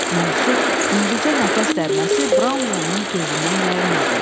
Monksun yüngülcə nəfəs dərməsi Brownlonun gözündən yayınmadı.